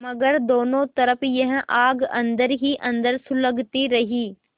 मगर दोनों तरफ यह आग अन्दर ही अन्दर सुलगती रही